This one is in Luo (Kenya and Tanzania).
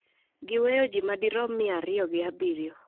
gi weyo ji madirom mia ariyo gi abiriyo